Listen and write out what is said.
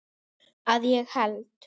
Að ég held.